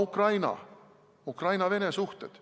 Ukraina ja Ukraina-Vene suhted.